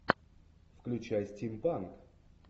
включай стимпанк